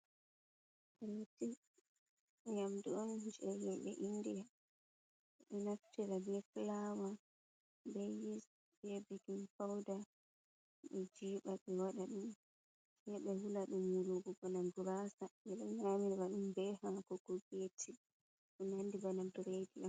Reti, nyamdu on jei himɓe india. Ɓe ɗo naftira be flawa, be yis, be bekin fouda, be jiiɓa ɓe waɗa ɗum. Se ɓe wula ɗum wulugo bana gurasa. Ɓe ɗo nyamira ɗum be haako ko be ti. Ɗo nandi bana bredi.